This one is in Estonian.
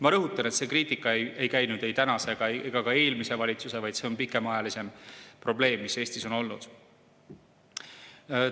Ma rõhutan, et see kriitika ei käinud ei tänase ega ka eelmise valitsuse pihta, vaid see probleem on Eestis pikemaajalisem.